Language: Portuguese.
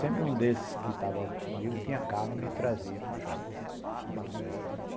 Sempre um desses que estava comigo tinha carro e me trazia para o shopping.